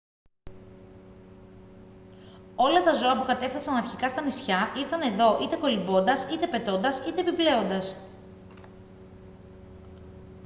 όλα τα ζώα που κατέφθασαν αρχικά στα νησιά ήρθαν εδώ είτε κολυμπώντας είτε πετώντας είτε επιπλέοντας